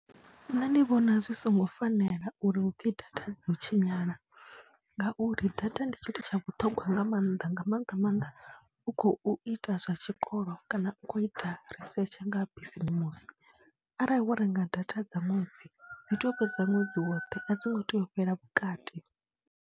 Nṋe ndi vhona zwi songo fanela uri hu pfhi data dzo tshinyala ngauri data ndi tshithu tsha vhuṱhongwa nga mannḓa nga maanḓa maanḓa u khou ita zwa tshikolo kana u khou ita risetshe nga bisimusi, arali wo renga data dza ṅwedzi, dzi tea u fhedza ṅwedzi woṱhe, a dzi ngo tea u fhela vhukati.